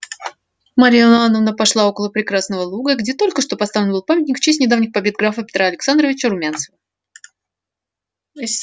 марья ивановна пошла около прекрасного луга где только что поставлен был памятник в честь недавних побед графа петра александровича румянцева